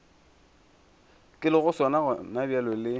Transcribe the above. ke lego sona gonabjale le